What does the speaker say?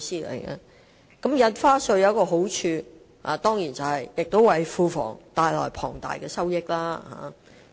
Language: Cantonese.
開徵新增印花稅有其好處，就是能為庫房帶來龐大收益。